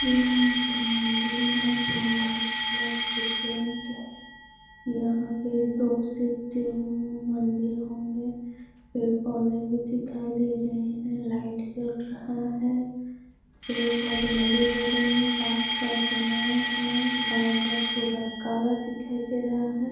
यहाँ एक मंदिर है जो व्हाइट कलर से पेंट यहाँ पे दो से तीन मंदिल होंगे पेड़-पौधे दिखाई दे रहे है लाइट जल रहा है पेड़-पौधे हरे-भरे हैं रात का समय है बादल पूरा काला दिखाई दे रहा है।